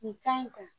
Nin kan in kan